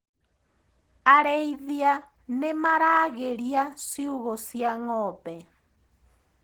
Arĩithia nĩmaragĩria ciugũ cia ngombe.